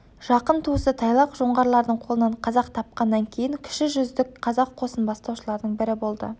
жақын туысы тайлақ жоңғарлардың қолынан қазақ тапқаннан кейін кіші жүздік қазақ қосын бастаушылардың бірі болды